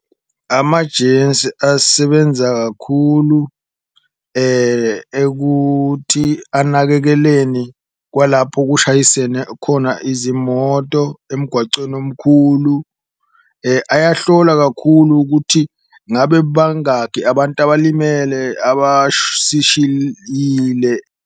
Amajensi asebenza kakhulu ekuthi anakekeleni kwalapho kushayisene khona izimoto emgwacweni omkhulu, ayohlola kakhulu ukuthi ngabe bangaki abantu abalimele .